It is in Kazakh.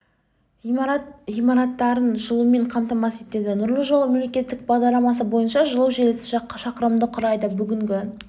ғимарат ғимараттарын жылумен қамтамасыз етеді нұрлы жол мемлекеттік бағдарламасы бойынша жылу желісі шақырымды құрайды бүгінгі